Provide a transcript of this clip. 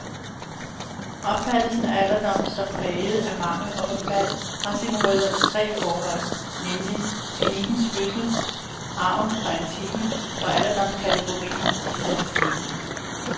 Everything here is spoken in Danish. Opfattelsen af alderdom som præget af mangel og forfald, har sine rødder i tre forhold, nemlig klinikkens fødsel, arven fra antikken og alderdomskategorien i statistikken.